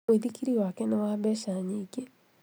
Mũithikiri wake nĩ wa mbeca nyingĩ